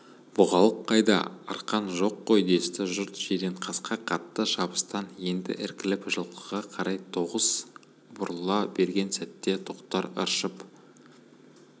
бұғалық қайда қалған арқан жоқ қой десті жұрт жиренқасқа қатты шабыстан енді іркіліп жылқыға қарай тағы оқыс бұрыла берген сәтте тоқтар ыршып